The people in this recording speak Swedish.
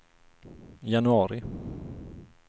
januari